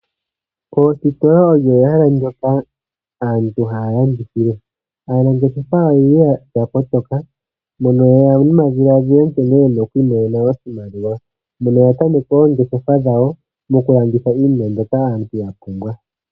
Oositola olyo ehala moka aantu haya landithile. Aanangeshefa oyendji oya kotoka mono yeya nomadhiladhilo nkene yena oku imonena oshimaliwa mono yatameke oongeshefa dhawo nokulanditha iinima mbyoka aantu yapumbwa.